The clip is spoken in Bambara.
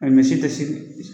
misi tɛ si